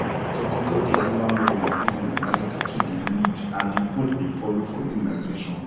to control the animal movement easily na the cattle dey lead and the goat dey follow for easy migration